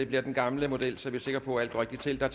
den gamle model så vi er sikre på at alt går rigtigt til der